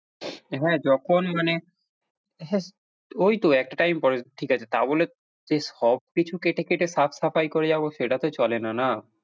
হ্যাঁ, যখন মানে হ্যাঁ ওই তো এতটাই important ঠিক আছে, তা বলে যে সব কিছু কেটে কেটে হাত সাফাই করে যাবো সেটা তো চলে না না।